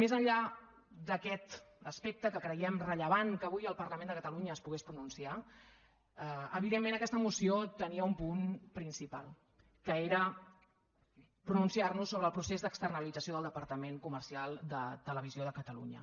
més enllà d’aquest aspecte que creiem rellevant que avui el parlament de catalunya es pogués pronunciar evidentment aquesta moció tenia un punt principal que era pronunciar nos sobre el procés d’externalització del departament comercial de televisió de catalunya